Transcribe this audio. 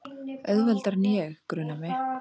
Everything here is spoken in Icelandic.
Auðveldari en ég, grunar mig.